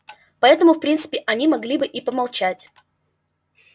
поэтому в принципе они могли бы и молчать